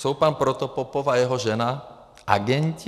Jsou pan Protopopov a jeho žena agenti?